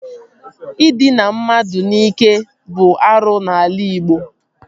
Ịdịna mmadụ n'ike bụ arụ n'ala Ịgbo